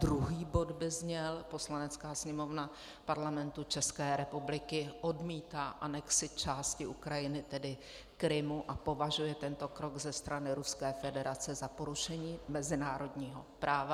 Druhý bod by zněl: "Poslanecká sněmovna Parlamentu České republiky odmítá anexi části Ukrajiny, tedy Krymu, a považuje tento krok ze strany Ruské federace za porušení mezinárodního práva."